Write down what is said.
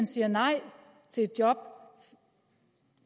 siger nej til job